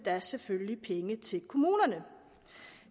selvfølgelig penge til kommunerne